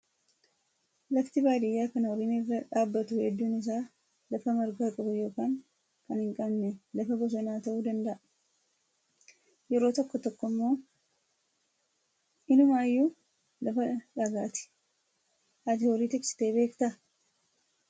Lafti baadiyyaa kan horiin irra dhaabbattu hedduun isaa lafa marga qabu yookaan kan hin qabne lafa bosonaa ta'uu danda'a. Yeroo tokko tokko immoo inumaayyuu lafa dhagaati. Ati horii tiksitee beektaa?